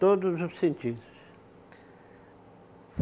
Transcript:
Todos os sentidos